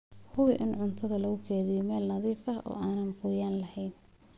Hubi in cuntada lagu kaydiyo meel nadiif ah oo aan qoyaan lahayn.